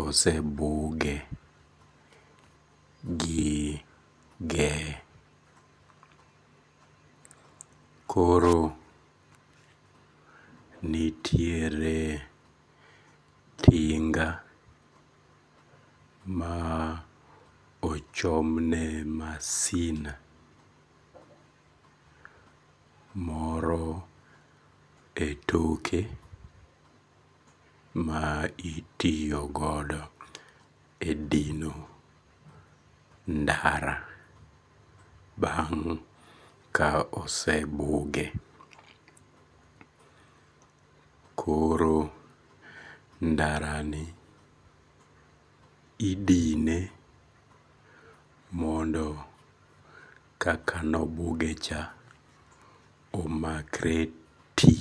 osebuge gi geh, koro nitiere tinga ma ochomne masin moro e toke ma itiyogodo e dino ndara bang' ka osebuge, koro ndarani idine mondoo kaka ne obuge cha omakre ti